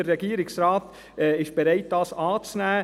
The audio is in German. Der Regierungsrat ist bereit, dies anzunehmen.